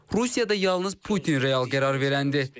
Rusiyada yalnız Putin real qərar verəndir.